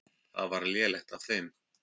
Það var lélegt af þeim.